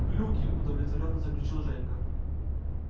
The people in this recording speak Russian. глюки удовлетворённо заключил женька